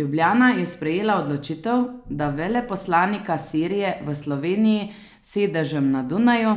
Ljubljana je sprejela odločitev, da veleposlanika Sirije v Sloveniji s sedežem na Dunaju